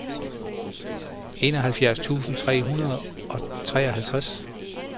enoghalvfjerds tusind tre hundrede og treoghalvtreds